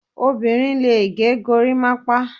Obinrin lè gẹ gorimapa